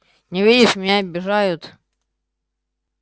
не видишь меня обижают